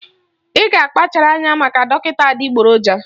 Ị ga-akpachara anya maka dọkịta adịgboroja